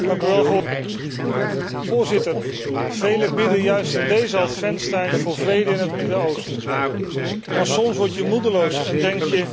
Voorzitter, velen bidden juist in deze adventstijd voor vrede in het Midden Oosten, maar soms word je moedeloos en denk je, die vrede komt er nooit.